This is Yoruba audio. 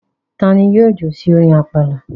Ta ni yóò jó sí orin àpàlà?